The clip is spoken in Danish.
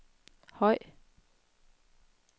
høj